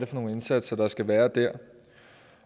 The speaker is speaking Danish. for nogle indsatser der skal være der